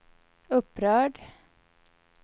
upprörd